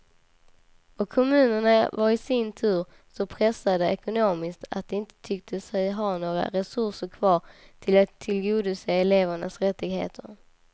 Och kommunerna var i sin tur så pressade ekonomiskt att de inte tyckte sig ha några resurser kvar att tillgodose elevernas rättigheter.